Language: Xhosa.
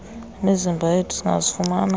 imizimba yethu singazifumana